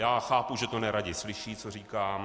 Já chápu, že to neradi slyší, co říkám.